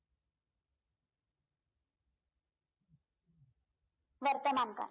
वर्तमान काळ